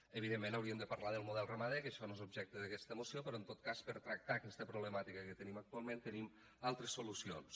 evidentment hauríem de parlar del model ramader que això no és objecte d’aquesta moció però en tot cas per tractar aquesta problemàtica que tenim actualment tenim altres solucions